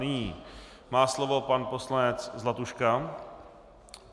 Nyní má slovo pan poslanec Zlatuška.